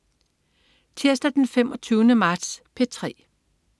Tirsdag den 25. marts - P3: